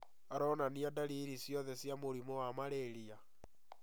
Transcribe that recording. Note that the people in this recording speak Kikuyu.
Aronania ndariri ciothe cia mũrimũ wa Marĩria